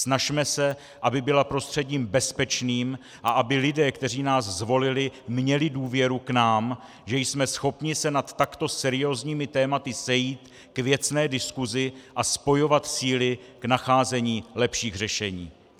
Snažme se, aby byla prostředím bezpečným a aby lidé, kteří nás zvolili, měli důvěru k nám, že jsme schopni se nad takto seriózními tématy sejít k věcné diskusi a spojovat síly k nacházení lepších řešení.